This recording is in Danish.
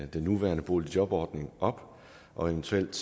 den nuværende boligjobordning op og eventuelt